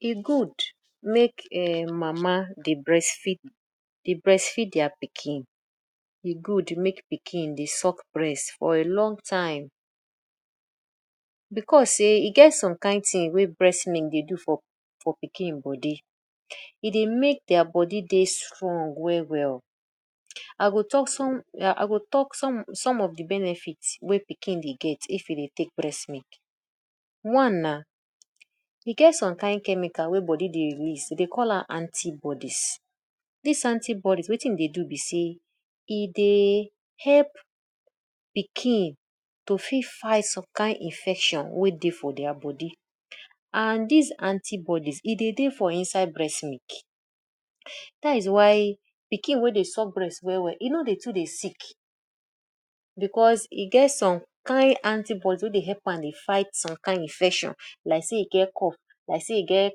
E good make um mama dey breastfeed dey breastfeed their pikin. E good make pikin dey suck breast for a long time because sey e get some kain thing wey breast milk dey do for for for pikin body; E dey make their body dey strong well well. I go talk some I go talk some some of de benefit wey pikin dey get if e dey take breastmilk. One na e get some kain chemical wey body dey release dem dey call am anti-bodies. Dis anti-bodies wetin e dey do be sey e dey help pikin to fit fight some kind infection wey dey for their body and dis anti-bodies e dey dey for inside breast milk. Dats why pikin wey dey suck breast well well e no dey too dey sick because e get some kain anti-bodies wey dey help am dey fight some kain infection like sey e get cough, like sey e get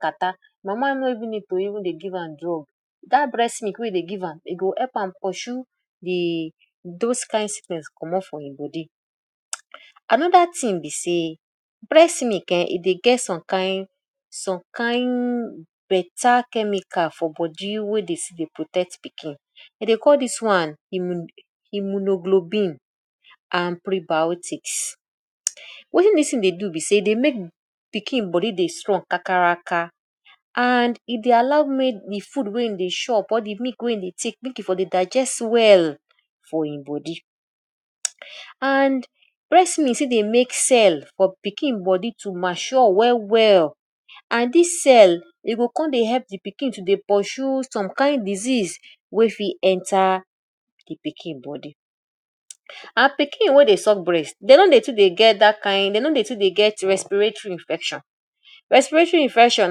catarrh; mama no even need to even dey give am drug dat breast milk wey you dey give am go help am pursue de those kind sickness comot for im body. Another thing be sey breast milk um e dey get some kain some kain better chemical for body wey dey still dey protect pikin. Dey dey call dis one immuno-globin and prebiotics. Wetin dis thing dey do be sey e dey make pikin body dey strong kakaraka and e dey allow make de food wey e dey chop or de milk wey e dey take, make e for dey digest well for im body. And breast milk still dey make cell for pikin body to mature well well and dis cell e go come dey help de pikin to dey pursue some kain disease wey fit enter de pikin body. And pikin wey dey suck breast dem no dey too dey get dat kain dey no dey too dey get respiratory infection. Respiratory infection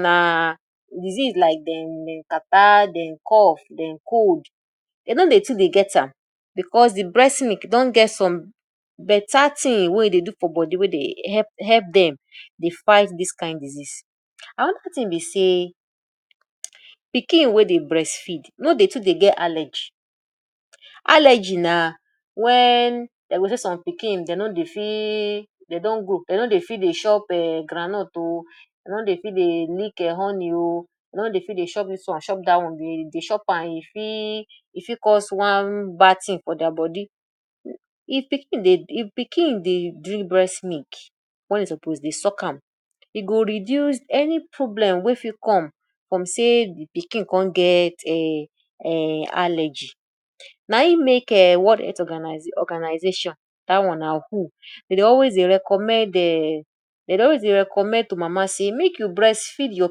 na disease like dem dem catarrh, dem cough, dem cold dey no dey too dey get am because de breast milk don get some better thing wey e dey do for body wey dey help help dem dey fight dis kind disease. Another thing be sey pikin wey dey breastfeed no dey too dey get allergy. Allergy na wen dey go say some pikin dey no dey fit, dey don grow, dey no dey fit chop um groundnut oo, dey no dey fit dey lick um honey oo, dey no dey fit dey chop this one chop dat one. If dey chop am, e fit e fit cause one bad thing for their body. If pikin dey if pikin dey drink breastmilk wen e suppose dey suck am, e go reduce any problem wey fit come from sey de pikin come get um um allergy na im make um World Health Organization dat one na WHO dem dey always dey recommend um dem dey always dey recommend to mama sey make you breast feed your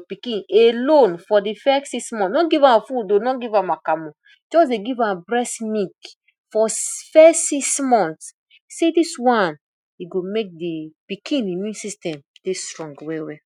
pikin alone for de first six months. No give am food oo, no give am akamu. Just dey give am breast milk for first six month. Say dis one, e go make de pikin immune system dey strong well well.